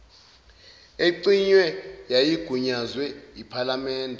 ecinyiwe yayigunyazwe yiphalamende